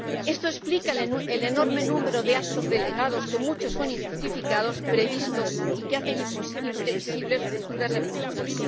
Esto explica el enorme número de actos delegados —muchos son injustificados— previstos y que hacen imprevisibles futuras repercusiones.